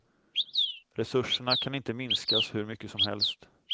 Resurserna kan inte minskas hur mycket som helst.